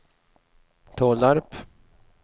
Tollarp